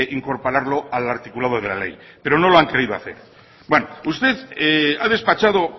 incorporarlo al articulado de la ley pero no lo han querido hacer bueno usted ha despachado